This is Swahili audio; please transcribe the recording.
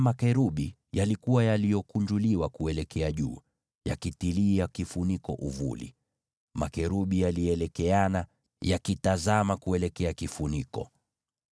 Makerubi hao walikuwa wametandaza mabawa kuelekea juu, wakitia kivuli hicho kifuniko. Makerubi hao walielekeana, wakitazama hicho kifuniko.